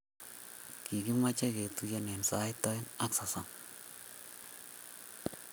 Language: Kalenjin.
Kigimache ketuiye sait aeng ak sosom